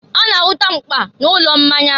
a na-ahụta mkpa n'ụlọ mmanya.